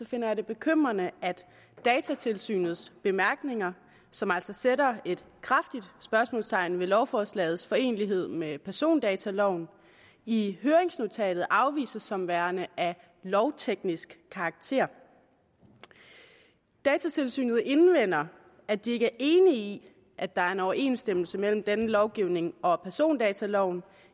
finder jeg det bekymrende at datatilsynets bemærkninger som altså sætter et kraftigt spørgsmålstegn ved lovforslagets forenelighed med persondataloven i høringsnotatet afvises som værende af lovteknisk karakter datatilsynet indvender at de ikke er enige i at der er en overensstemmelse mellem denne lovgivning og persondataloven